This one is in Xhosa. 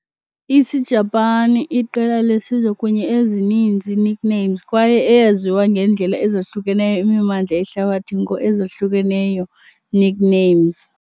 Isijapani iqela lesizwe kunye ezininzi nicknames kwaye eyaziwayo ngendlela ezahlukeneyo imimandla yehlabathi ngo ezahlukeneyo nicknames.